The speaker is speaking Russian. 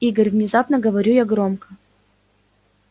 игорь внезапно говорю я громко